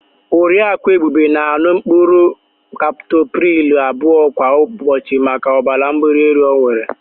Oriaku Ebube na-an̄ụ mkpụrụ kaptopril abụọ kwa ụbọchị maka ọbara mgbalaelu ọ nwere.